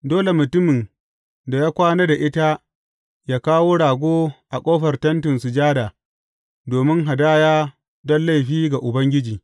Dole mutumin da ya kwana da ita yă kawo rago a ƙofar Tentin Sujada domin hadaya don laifi ga Ubangiji.